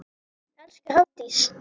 Elsku Hafdís.